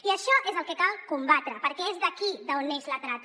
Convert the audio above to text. i això és el que cal combatre perquè és d’aquí d’on neix la trata